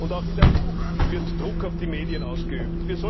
Und auch in der EU wird Druck auf die Medien ausgeübt.